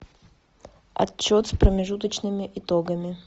отчет с промежуточными итогами